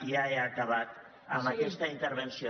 i ja he acabat amb aquesta in·tervenció